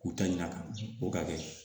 K'u ta ɲina a kan u ka kɛ